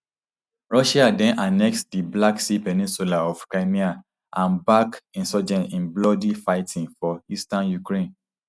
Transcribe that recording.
russia den annexe di black sea peninsula of crimea and back insurgents in bloody fighting for eastern ukraine